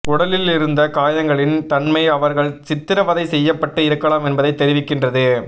உடலில் இருந்த காயங்களின் தன்மை அவர்கள் சித்திரவதை செய்யப்பட்டு இருக்கலாம் என்பதை தெரிவிக்கின்றது